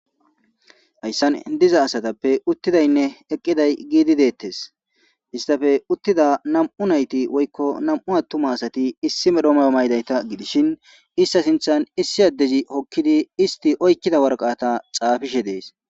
Hayssan diza asatappe uttidaynne eqqiday giidi deettes istafe uttida nam'u nayti woykko nam'u attuma asati issi medhoma maydayta gidishin ista sinthan issi addezi hokkidi isti oykkida warqata xaafishe dees.